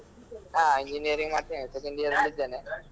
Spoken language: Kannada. ಆ engineering ಮಾಡ್ತಾ ಇದ್ದೇನೆ second year ಅಲ್ಲಿ ಇದ್ದೇನೆ.